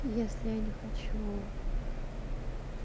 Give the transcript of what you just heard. если я не хочу